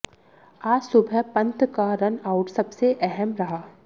आज सुबह पंत का रन आउट सबसे अहम रहा